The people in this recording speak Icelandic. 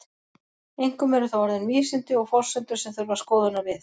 Einkum eru það orðin vísindi og forsendur sem þurfa skoðunar við.